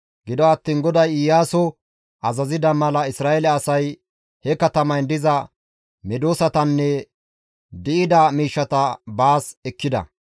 Gido attiin GODAY Iyaaso azazida mala Isra7eele asay he katamayn diza medosatanne di7ida miishshata baas ekkida.